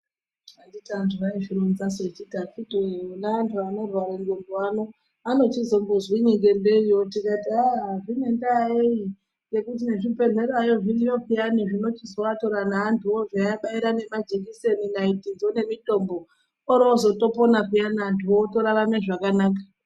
Anditi antu aizvironzasu echiti akitiwe wona antu anorwara ndebvu ano anochizombozwinyi ngembiriyo tikati aa zvine ndaa yei ngekuti nezvibhedhlerayo zviriyo peyani zvinochizoatora neantuwo zveiabara nemajekiseni, naitidzo nemitombo orozotopona peyana antuwo otorarame zvakanaka.